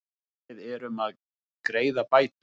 Við erum að greiða bætur.